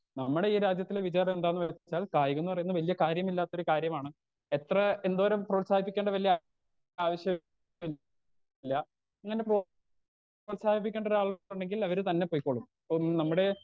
Speaker 2 നമ്മളെ ഈ രാജ്യത്തെ വിചാരെന്താണ് വെച്ചാൽ കായികംന്ന് പറയുന്നത് വല്ല്യ കാര്യമില്ലാത്തൊരു കാര്യമാണ് എത്ര എന്തോരം പ്രോത്സാഹിപ്പിക്കണ്ട വല്ല്യ ആവശ്യം ഇല്ല പ്രോത്സാഹിപ്പിക്കണ്ടൊരാളുണ്ടെങ്കിൽ അവര് തന്നെ പൊയ്ക്കോളും ഉം നമ്മടേ.